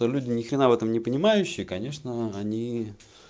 то люди ни хрена в этом не понимающая конечно они